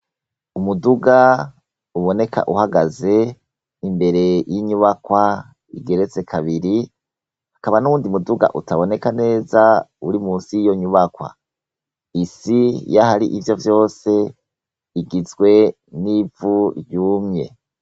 Umuduga uboneka uhagaze imbere y'inyubakwa igeretse kabiri hakaba n'uwundi muduga utaboneka neza uri musi y'iyo nyubakwa isi yaho ari ivyo vyose igizwe n'ivu ryumye.